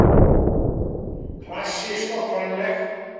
Klassísk og kvenleg